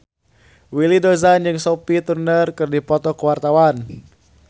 Willy Dozan jeung Sophie Turner keur dipoto ku wartawan